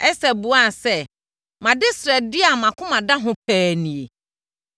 Ɛster buaa sɛ, “Mʼadesrɛdeɛ a mʼakoma da ho pa ara nie: